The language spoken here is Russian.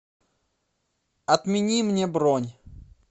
отмени мне бронь